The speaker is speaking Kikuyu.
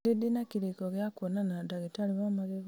nĩ rĩ ndĩna kĩrĩko gĩa kwonana na ndagĩtarĩ wa magego